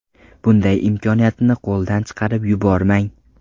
Bunday imkoniyatni qo‘ldan chiqarib yubormang!